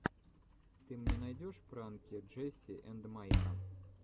ты мне найдешь пранки джесси энд майка